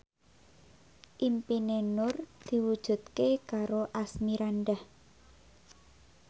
impine Nur diwujudke karo Asmirandah